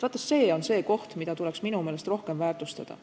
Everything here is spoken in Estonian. Vaat see on see koht, mida tuleks minu meelest rohkem väärtustada.